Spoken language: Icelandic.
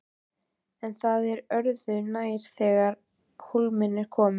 En það er öðru nær þegar á hólminn er komið.